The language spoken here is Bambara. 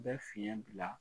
bɛ fiɲɛ bila